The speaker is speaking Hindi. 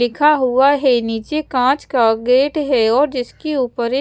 लिखा हुआ है नीचे कांच का गेट है और जिसके ऊपर ये--